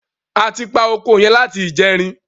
A ti pa oko yẹn láti ìjẹrin.